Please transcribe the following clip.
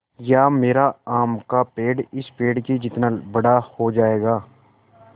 या मेरा आम का पेड़ इस पेड़ के जितना बड़ा हो जायेगा